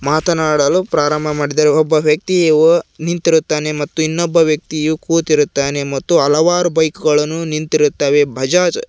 ಮಾತನಾಡಲು ಪ್ರಾರಂಭ ಮಾಡಿದ್ದೇವೆ ಒಬ್ಬ ವ್ಯಕ್ತಿಯು ನಿಂತಿರುತ್ತಾನೆ ಮತ್ತು ಇನ್ನೊಬ್ಬ ವ್ಯಕ್ತಿಯು ಕೂತಿರುತಾನೆ ಮತ್ತು ಹಲವಾರು ಬೈಕ್ ಗಳನ್ನು ನಿಂತಿರುತ್ತವೆ ಬಜಾಜ್ --